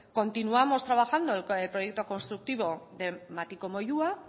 continuamos trabajando el proyecto constructivo de matiko moyua